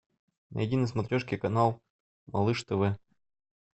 найди на смотрешке канал малыш тв